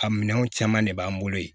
A minɛnw caman de b'an bolo yen